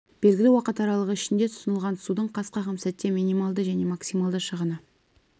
белгілі уақыт аралығы ішінде тұтынылған судың қас қағым сәтте минималды және максималды шығыны